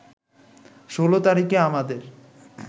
১৬ তারিখে আমাদের